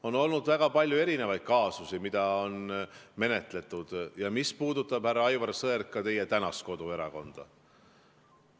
On olnud väga palju kaasusi, mida on menetletud ja mis puudutavad, härra Aivar Sõerd, ka teie tänast koduerakonda.